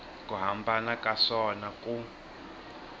ku hambana ka swona ku